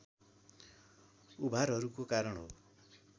उभारहरूको कारण हो